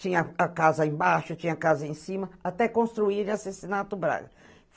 Tinha a casa embaixo, tinha a casa em cima, até construírem o Braga.